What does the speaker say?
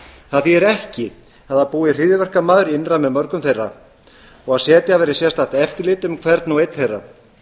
það þýðir ekki að það búi hryðjuverkamaður innra með mörgum þeirra og að setja verði sérstakt eftirlit um hvern og einn þeirra